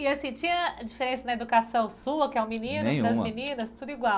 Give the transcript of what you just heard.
E assim, tinha diferença na educação sua, que é o menino, essas meninas, tudo igual?